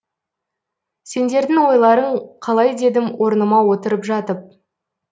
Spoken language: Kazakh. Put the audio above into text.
сендердің ойларың қалай дедім орныма отырып жатып